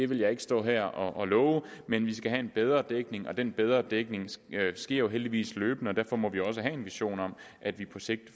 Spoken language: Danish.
vil jeg ikke stå her og love men vi skal have en bedre dækning den bedre dækning sker jo heldigvis løbende og derfor må vi også have en vision om at vi på sigt